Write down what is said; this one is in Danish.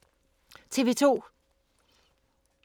TV 2